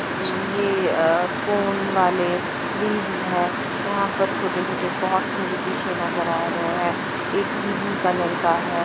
अं ये कोन वाले लीव्स है यहां पर छोटे छोटे पोट्स मुझे पीछे नजर आ रहे हैं ये ग्रीन कलर का है।